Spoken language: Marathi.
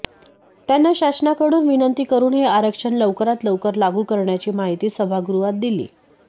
त्यांना शासनाकडून विनंती करून हे आरक्षण लवकरात लवकर लागू करण्याची माहिती सभागृहात दिली